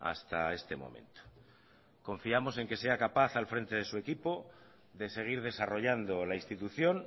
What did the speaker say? hasta este momento confiamos en que sea capaz al frente de su equipo de seguir desarrollando la institución